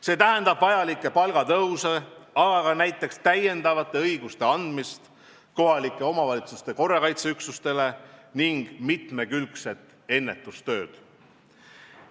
See tähendab vajalikke palgatõuse, aga ka näiteks täiendavate õiguste andmist kohalike omavalitsuste korrakaitseüksustele ning mitmekülgset ennetustööd.